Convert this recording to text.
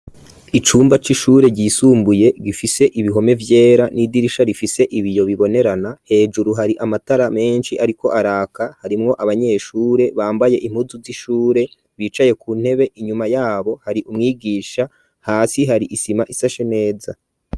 Icumba c'ishure ryisumbuye gifise ibihome vyera n'idirisha rifise ibiyo bibonerana, hejuru hari amatara menshi ariko araka harimwo abanyeshure bambaye impuzu z'ishure bicaye ku ntebe inyuma yabo hari umwigisha, hasi hari isima isashe neza.